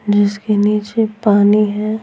जिसके नीचे पानी है।